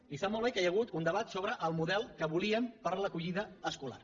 i sap molt bé que hi ha hagut un debat sobre el model que volíem per a l’acollida escolar